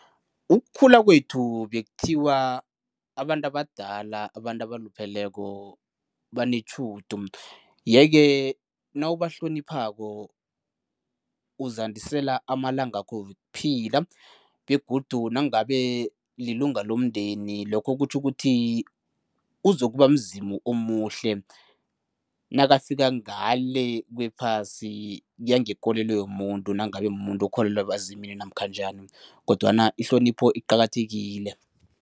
Ukukhula kwethu bekuthiwa abantu abadala, abantu abalupheleko banetjhudu yeke nawubahloniphako uzandisela amalangakho wokuphila begodu nangabe lilunga lomndeni lokho kutjho ukuthi, uzokuba mzimu omuhle nakafika ngale kwephasi, kuya ngekolo yomuntu nangabe mumuntu okholelwa ebazimini namkha njani kodwana ihlonipho iqakathekile.